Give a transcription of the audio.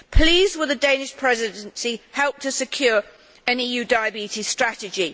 Please will the Danish Presidency help to secure an EU diabetes strategy?